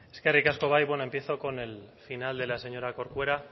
eskerrik asko bai bueno empiezo con el final de la señora corcuera